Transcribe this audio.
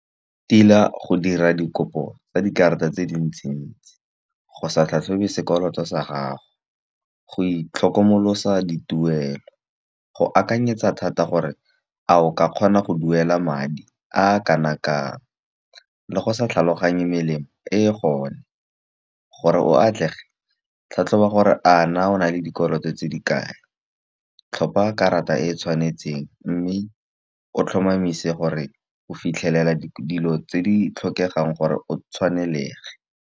Tila go dira dikopo tsa dikarata tse dintsintsi. Go sa tlhatlhobe sekolo sa gago, go itlhokomolosa dituelo, go akanyetsa thata gore a o ka kgona go duela madi a kana kang. Le go sa tlhaloganye melemo e e gone, gore o atlege tlhatlhoba gore a na o nale dikoloto tse di kae. Tlhopha karata e e tshwanetseng mme o tlhomamise gore o fitlhelela dilo tse di tlhokegang gore o tshwanelege.